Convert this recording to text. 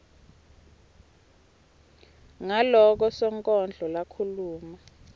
ngaloko sonkondlo lakhuluma